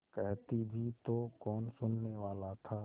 कहती भी तो कौन सुनने वाला था